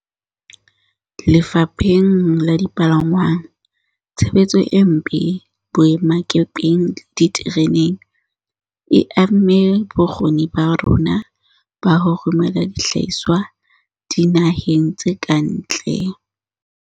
Lefapheng la dipalangwang, tshebetso e mpe boemakepeng le ditereneng e amme bokgoni ba rona ba ho romela dihlahiswa dina heng tse ka ntle.